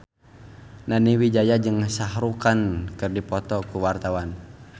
Nani Wijaya jeung Shah Rukh Khan keur dipoto ku wartawan